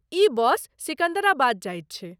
ई bus Secunderabad जाइत छै